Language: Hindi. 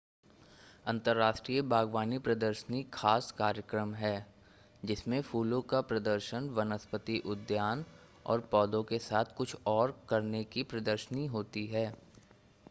अंतर्राष्ट्रीय बाग़वानी प्रदर्शनी ख़ास कार्यक्रम है जिसमें फूलों का प्रदर्शन वनस्पति उद्यान और पौधों के साथ कुछ और करने की प्रदशर्नी होती है